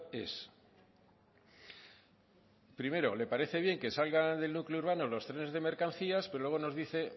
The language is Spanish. es primero le parece bien que salgan del núcleo urbano los trenes de mercancías pero luego nos dice